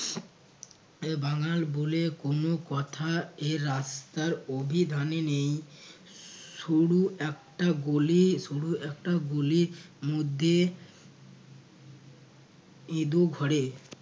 বাঙ্গাল বলে কোনো কোথা এই রাস্তার অভিধানে নেই। সরু একটা গলি সরু একটা গলির মধ্যে ইদু ঘরে